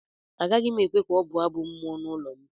Agaghị m ekwe ka ọ bụọ Abụ mmụọ n’ụlọ m